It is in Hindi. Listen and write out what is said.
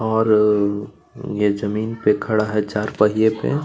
और ये जमीन पे खड़ा है चार पहिये पे--